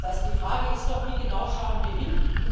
Das heißt, die Frage ist doch Wie genau schauen wir hin?